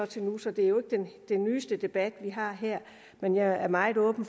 til nu så det er jo ikke den nyeste debat vi har her men jeg er meget åben